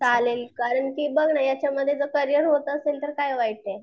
चालेल कारण कि बघ ना याच्यामध्ये जर करियर होत असेल तर काय वाईटय.